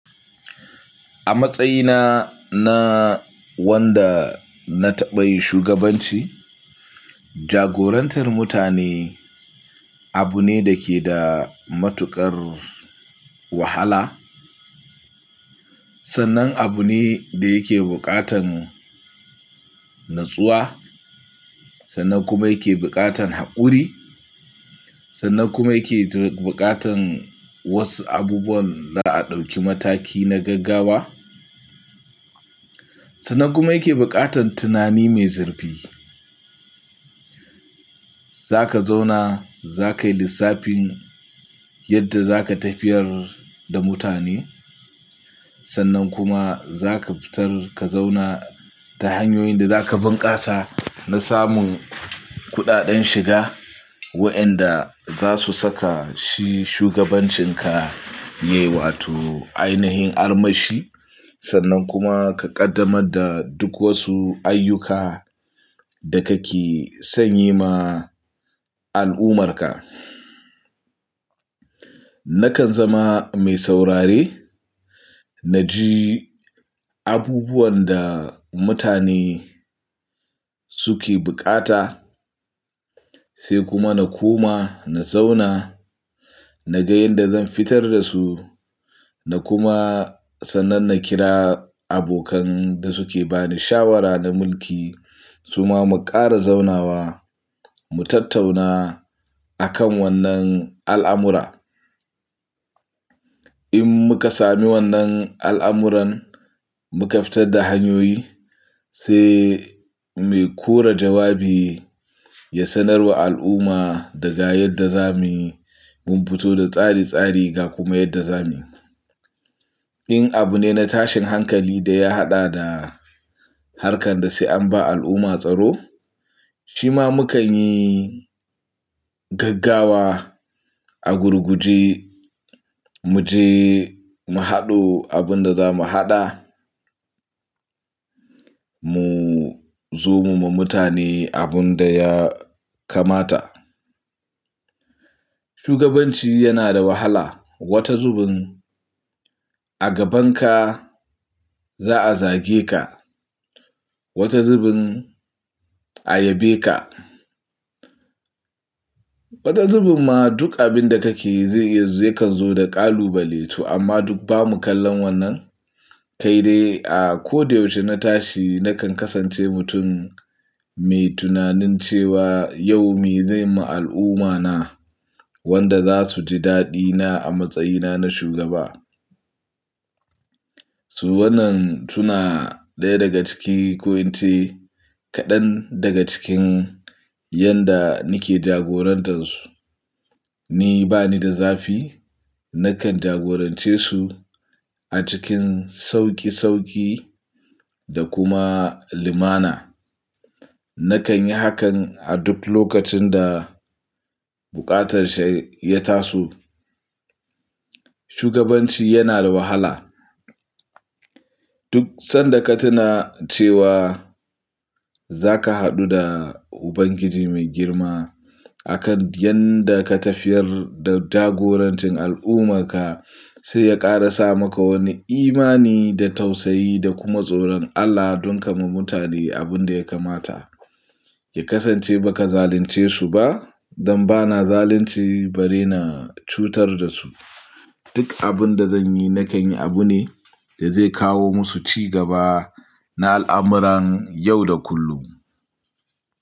A matsayina na wanda na taɓa yin shugabanci, jagorantar mutane abu ne da ke da matuƙar wahala. Sannan abu ne da yake buƙatan natsuwa, sannan kuma yake buƙatan haƙuri, sannan kuma yake buƙatan wasu abubuwan za a ɗauki mataki na gaggawa, sannan kuma yake buƙatan tunani mai zurfi. Za ka zauna, za ka yi lissafin yadda za ka tafiyar da mutane. Sannan kuma za ka fitar ka zauna ta hanyoyin da za ka bunkasa na samun kuɗaɗen shiga wa'inda za su saka shi shugabancinka yayi, wato ainihin armashi. Sannan kuma ka ƙaddamar da duk wasu ayyuka da ka ke son yi ma al'ummarka. Nakan zama mai saurare, na ji abubuwan da mutane suke buƙata, sai kuma na koma na zauna, na ga yadda zan fitar da su, na kuma sannan na kira abokan da suke bani shawara na mulki. Su ma mu ƙara zaunawa, mu tattauna akan wannan al'amura. In muka sami wannan al'amuran, muka fitar da hanyoyi, sai mai kora jawabi ya sanar wa al'umma da ga yadda za mu mun fito da tsari tsari ga kuma yadda za mu In abu ne na tashin hankali da ya haɗa da harkan da sai an ba al'umma tsaro, shi ma mu kan yi gaggawa a gurguje, mu je mu haɗo abin da za mu haɗa. Mu zo mu yi wa mutane abin da ya kamata. Shugabanci yana da wahala. Wata zubin a gabanka za a zage ka, wata zubin a yabe ka. Wata zubin ma duk abin da kake yi zai iya yakan zo da ƙalubale tu amma duk ba mu kalla wannan. Kai dai a ko da yaushe na tashi na kan kasance mutum mai tunanin cewa yau me zai ma al'ummane wanda za su ji daɗina a matsayina na shugaba. Su wannan suna ɗaya daga cikin ko in ce kaɗan daga cikin yadda nake jagorantar su. Ni bani da zafi, na kan jagorance su a cikin sauƙi sauƙi da kuma limana. Na kan yi hakan a duk lokacin da buƙatar shi ya taso. Shugabanci yana da wahala. Duk sanda ka tuna cewa za ka haɗu da Ubangiji mai girma akan yadda ka tafiyar da jagorancin al'ummarka, sai ya ƙara sa maka wani imani da tausayi da kuma tsoron Allah don ka ma mutane abin da ya kamata. Ya kasance ba ka zalince su ba. Dan ba na zalunci bare na cutar da su. Duk abin da zan yi na kan yi abu ne da zai kawo musu ci gaba na al'amuran yau da kullum.